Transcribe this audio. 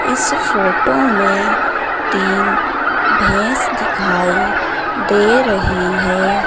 इस फोटो में तीन भैंस दिखाई दे रही है।